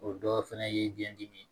O dɔ fɛnɛ ye biyɛn dimi